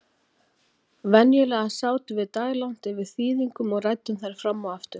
Venjulega sátum við daglangt yfir þýðingunum og ræddum þær fram og aftur.